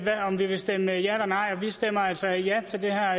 om vi ville stemme ja eller nej og vi stemmer altså ja til det her